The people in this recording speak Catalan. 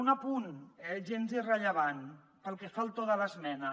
un apunt gens irrellevant pel que fa al to de l’esmena